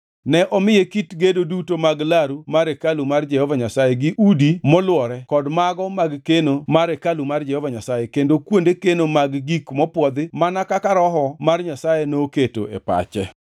Ne omiye kit gedo duto mag laru mar hekalu mar Jehova Nyasaye to gi udi molwore kod mago mag keno mar hekalu mar Jehova Nyasaye kendo kuonde keno mag gik mopwodhi mana kaka Roho mar Nyasaye noketo e pache.